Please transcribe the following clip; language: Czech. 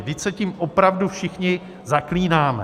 Vždyť se tím opravdu všichni zaklínáme.